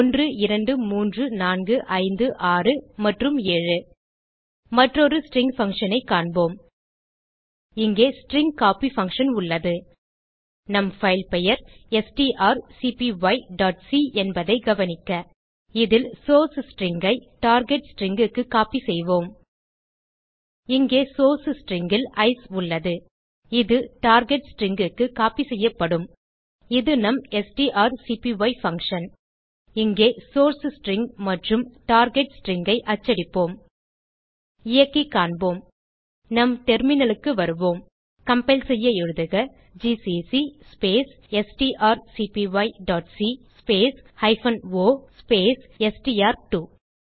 123456 மற்றும் 7 மற்றொரு ஸ்ட்ரிங் functionஐ காண்போம் இங்கே ஸ்ட்ரிங் கோப்பி பக்ஷன் உள்ளது நம் பைல் பெயர் strcpyசி என்பதைக் கவனிக்க இதில் சோர்ஸ் ஸ்ட்ரிங் ஐ டார்கெட் stringக்கு கோப்பி செய்வோம் இங்கே சோர்ஸ் ஸ்ட்ரிங் ல் ஐசிஇ உள்ளது இது டார்கெட் stringக்கு கோப்பி செய்யப்படும் இது நம் ஸ்ட்ராக்பி பங்ஷன் இங்கே சோர்ஸ் ஸ்ட்ரிங் மற்றும் டார்கெட் stringஐ அச்சடிப்போம் இயக்கி காண்போம் நம் terminalக்கு வருவோம் கம்பைல் செய்ய எழுதுக ஜிசிசி ஸ்பேஸ் strcpyசி space hyphen O space STR two